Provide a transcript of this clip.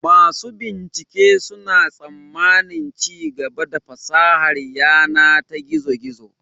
Masu bincike suna tsammanin ci gaba a fasahar yana ta gizo-gizo.